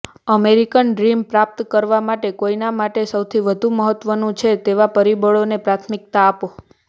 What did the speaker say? American dream પ્રાપ્ત કરવા માટે કોઈના માટે સૌથી વધુ મહત્વનું છે તેવા પરિબળોને પ્રાથમિકતા આપો